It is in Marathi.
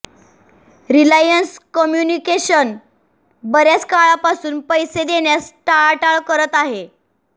रिलायन्स कम्युनिकेशन बऱ्याच काळापासून पैसे देण्यास टाळाटाळ करत आहे